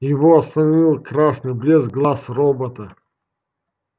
его остановил красный блеск глаз робота